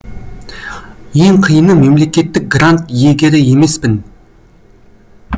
ең қиыны мемлекеттік грант иегері емеспін